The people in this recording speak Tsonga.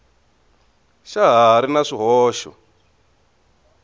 xa ha ri na swihoxo